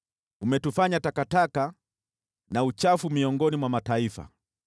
Umetufanya takataka na uchafu miongoni mwa mataifa.